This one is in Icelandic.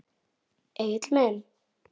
Egill minn.